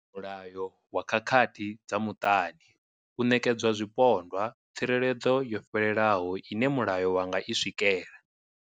Mulayo wa khakhathi dza muṱani u ṋekedzwa zwipondwa tsireledzo yo fhelelaho ine mulayo wa nga i swikela.